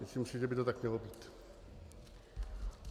Myslím si, že by to tak mělo být.